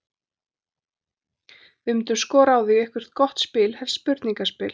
Við myndum skora á þau í eitthvert gott spil, helst spurningaspil.